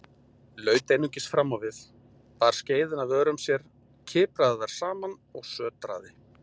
Laut einungis framávið, bar skeiðina að vörum sér, kipraði þær saman og sötraði.